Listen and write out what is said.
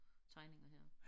Tegninger her